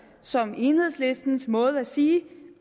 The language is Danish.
som enhedslistens måde at sige